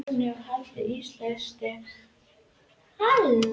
Þrónni er haldið íslausri með heitu vatni frá verksmiðjunni.